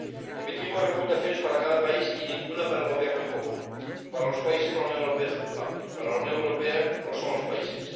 Emitimos recomendaciones para cada país y ninguna para el gobierno en común para los países, la Unión Europea es culpable para la Unión Europea, lo son los países.